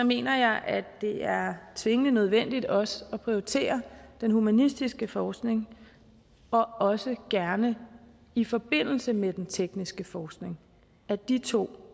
mener jeg at det er tvingende nødvendigt også at prioritere den humanistiske forskning og også gerne i forbindelse med den tekniske forskning at de to